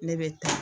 Ne bɛ taa